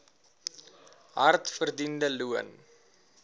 hard verdiende loon